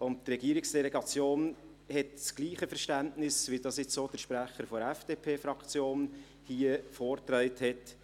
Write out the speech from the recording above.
Die Regierungsdelegation hat das gleiche Verständnis, wie dies jetzt auch der Sprecher der FDPFraktion hier vorgetragen hat: